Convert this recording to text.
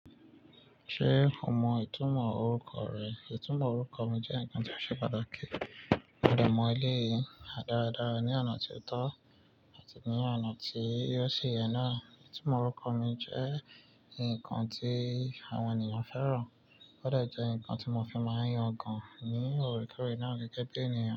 Ṣé o mọ ìtumọ̀ orúkọ rẹ? Ìtumọ̀ orúkọ mi jẹ́ ǹkan tó ṣe pàtàkì. Mo dẹ̀ mọ eleyìí dáradára ní ọ̀nà tí ó tọ́ àti ní ọ̀nà tí o si yeẹ náà. Ìtumọ̀ orúkọ mi jẹ́ ǹkan tí àwọn ènìyàn fẹ́ràn, ó de jẹ ǹkan tí mo fi máa ń yàn gan ní ore kore náà gẹ́gẹ́ bí ènìyàn.